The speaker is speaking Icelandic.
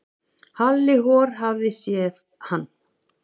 Halli hor hafði séð hann.